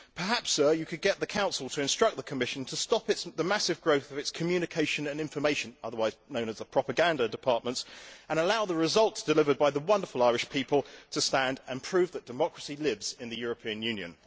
Perhaps, sir, you could get the Council to instruct the Commission to stop the massive growth of its communication and information otherwise known as propaganda departments, and allow the results delivered by the wonderful Irish people to stand and prove that democracy lives in the European Union.